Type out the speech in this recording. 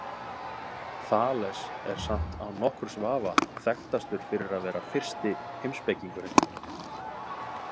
Þales er samt án nokkurs vafa þekktastur fyrir að vera fyrsti heimspekingurinn.